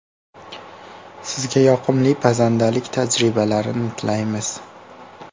Sizga yoqimli pazandalik tajribalarini tilaymiz!